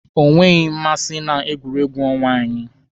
O nweghị mmasị na egwu ọnwa anyị.